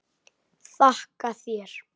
Þakka þér.